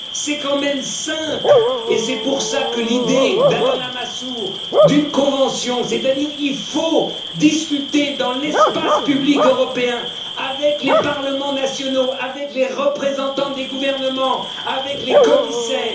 C'est quand même simple et c'est pour cela que l'idée d'Alain Lamassoure d'une convention est intéressante car il faut discuter dans l'espace public européen avec les parlements nationaux, avec les représentants des gouvernements, avec les commissaires.